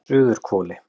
Suðurhvoli